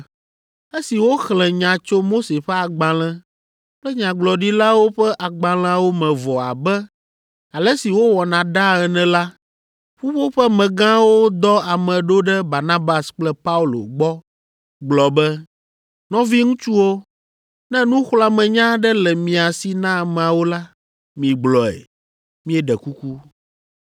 Esi woxlẽ nya tso Mose ƒe Agbalẽ kple Nyagblɔɖilawo ƒe Agbalẽawo me vɔ abe ale si wowɔna ɖaa ene la, ƒuƒoƒemegãwo dɔ ame ɖo ɖe Barnabas kple Paulo gbɔ gblɔ be, “Nɔviŋutsuwo, ne nuxlɔ̃amenya aɖe le mia si na ameawo la, migblɔe, míeɖe kuku.”